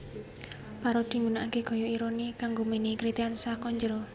Parodi nggunakake gaya ironi kanggo menehi kritikan saka njero